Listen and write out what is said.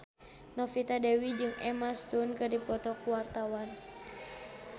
Novita Dewi jeung Emma Stone keur dipoto ku wartawan